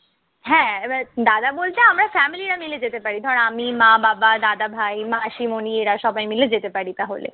হ্যাঁ এইবার দাদা বলতে আমরা family রা মিলে যেতে পারি। ধর আমি, মা-বাবা, দাদা ভাই, মাসি মনিরা সবাই মিলে যেতে পারি তাহলে।